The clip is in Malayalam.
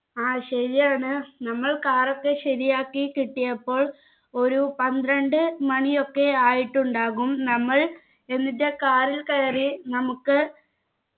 ആ ശരിയാണ് നമ്മൾ car ഒക്കെ ശരിയാക്കി കിട്ടിയപ്പോൾ ഒരു പന്ത്രണ്ട് മണിയൊക്കെ ആയിട്ടുണ്ടാകും നമ്മൾ എന്നിട്ട് car ൽ കയറി നമുക്ക്